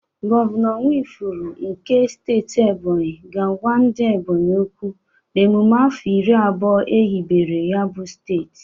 Gọvanọ Nwifuru nke steeti Ebonyi ga-agwa ndị Ebonyi okwu n'emụme afọ iri abụọ ehibere ya bụ steeti.